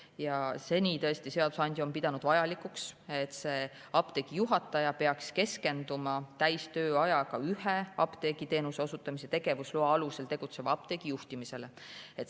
Ja seni tõesti seadusandja on pidanud vajalikuks, et apteegi juhataja keskendub täistööajaga ühe apteegiteenuse osutamise tegevusloa alusel tegutseva apteegi juhtimisele.